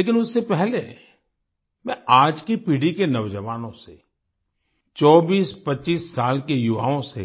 लेकिन उससे पहले मैं आज की पीढ़ी के नौजवानों से 2425 साल के युवाओं से